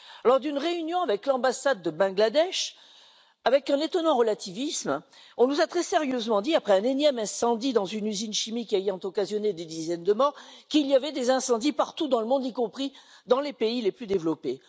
Lors d'une réunion avec l'ambassade du Bangladesh, avec un étonnant relativisme, on nous a très sérieusement dit après un énième incendie dans une usine chimique ayant occasionné des dizaines de morts qu'il y avait des incendies partout dans le monde, y compris dans les pays les plus développés.